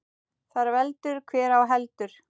Þar veldur hver á heldur.